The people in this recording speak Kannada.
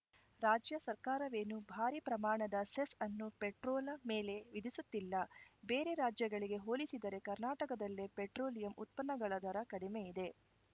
ರಾಜ್ಯ ಸರ್ಕಾರವೇನೂ ಭಾರಿ ಪ್ರಮಾಣದ ಸೆಸ್‌ ಅನ್ನು ಪೆಟ್ರೋಲ ಮೇಲೆ ವಿಧಿಸುತ್ತಿಲ್ಲ ಬೇರೆ ರಾಜ್ಯಗಳಿಗೆ ಹೋಲಿಸಿದರೆ ಕರ್ನಾಟಕದಲ್ಲೇ ಪೆಟ್ರೋಲಿಯಂ ಉತ್ಪನ್ನಗಳ ದರ ಕಡಿಮೆಯಿದೆ